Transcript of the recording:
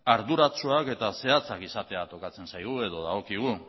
arduratsuak eta zehatzak izatea tokatzen zaigu edo dagokigu